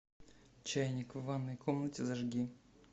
чайник в ванной комнате зажги